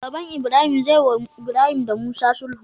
Baban ibrahim zeyi wa ibrahim da musa sulhu